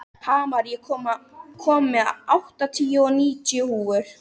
Hamar, ég kom með áttatíu og níu húfur!